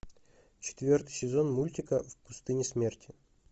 четвертый сезон мультика в пустыне смерти